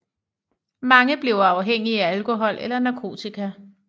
Mange bliver afhængige af alkohol eller narkotika